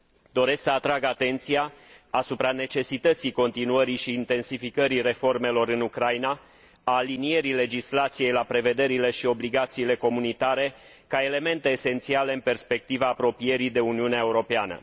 Doresc să atrag atenția asupra necesității continuării și intensificării reformelor în Ucraina, a alinierii legislației la prevederile și obligațiile comunitare ca elemente esențiale în perspectiva apropierii de Uniunea Europeană.